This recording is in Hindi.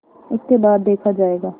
उसके बाद देखा जायगा